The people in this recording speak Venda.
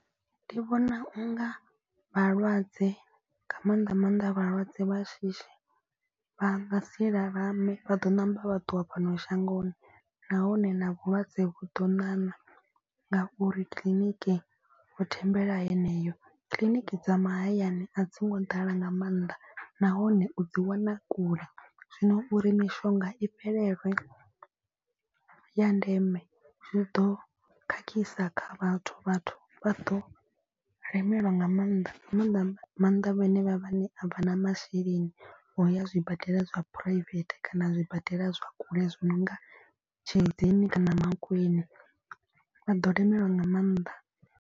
Ndi vhona u nga vhalwadze nga maanḓa maanḓa vhalwadze vha shishi vha nga si lalame. Vha ḓo ṋamba vha ṱuwa fhano shangoni nahone na vhulwadze vhu ḓo ṋaṋa. Ngauri kiḽiniki vho thembela heneyo kiḽiniki dza mahayani a dzi ngo ḓala nga maanḓa nahone u dzi wana kule. Zwino uri mishonga i fhelelwe ya ndeme zwi ḓo khakhisa kha vhathu vhathu vha ḓo lemelwa nga maanḓa. Nga maanḓa maanḓa vhanevha vhane a vha na masheleni o ya zwibadela zwa private kana zwibadela zwa kule zwi no nga Tshilidzini kana Mankweng. Vha ḓo lemelwa nga maanḓa.